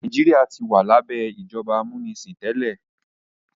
Nàìjíríà tí wà labẹ ìjọba amunisin tẹlẹ.